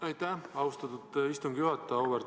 Aitäh, austatud istungi juhataja!